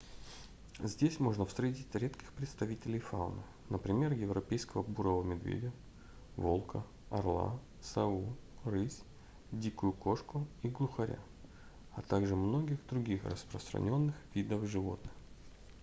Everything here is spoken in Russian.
здесь можно встретить редких представителей фауны например европейского бурого медведя волка орла сову рысь дикую кошку и глухаря а также многих других распространённых видов животных